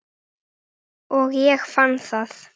Og ég fann það.